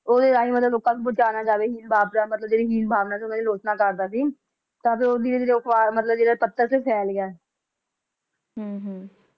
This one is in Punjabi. ਓਹਦੇ ਰਾਹੀਂ ਮਤਲਬ ਲੋਕ ਨੂੰ ਪਹੁੰਚਾਇਆ ਜਾਵੇ ਹੀਣ ਭਾਵਨਾ ਮਤਲਬ ਜਿਹੜੀ ਹੀਣ ਭਾਵਨਾ ਸੀ ਓਹਨਾ ਦੀ ਆਲੋਚਨਾ ਕਰਦਾ ਸੀ ਤਾਂ ਫਿਰ ਉਹ ਧੀਰੇ ਧੀਰੇ ਉਹ ਪੱਤਰ ਸੀ ਫੇਲ ਗਯਾ ਹਮ ਹਮ